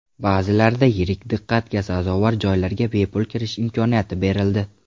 Ba’zilarida yirik diqqatga sazovor joylarga bepul kirish imkoniyati berildi.